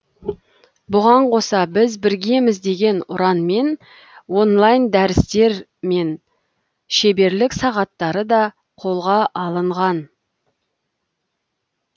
бұған қоса біз біргеміз деген ұранмен онлайн дәрістер мен шеберлік сағаттары да қолға алынған